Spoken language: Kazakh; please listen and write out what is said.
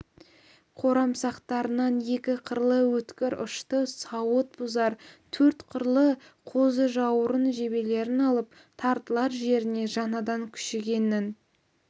қорамсақтарынан екі қырлы өткір ұшты сауыт бұзар төрт қырлы қозыжауырын жебелерін алып тартылар жеріне жаңадан күшігеннің